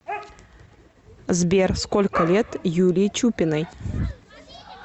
сбер сколько лет юлии чупиной